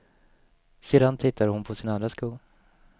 Sedan tittade hon på sin andra sko.